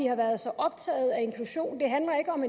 har været så optaget af inklusion det handler ikke om